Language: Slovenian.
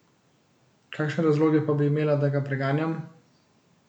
Kakšne razloge pa bi imela, da ga preganjam?